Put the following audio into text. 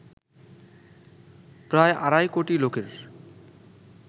প্রায় আড়াই কোটি লোকের